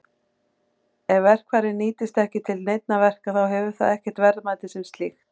Ef verkfærið nýtist ekki til neinna verka þá hefur það ekkert verðmæti sem slíkt.